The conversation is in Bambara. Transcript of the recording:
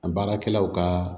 An baarakɛlaw ka